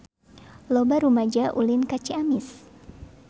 Loba rumaja ulin ka Ciamis